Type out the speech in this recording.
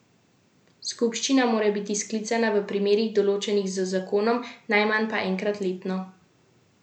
Skupščina mora biti sklicana v primerih, določenih z zakonom, najmanj pa enkrat letno.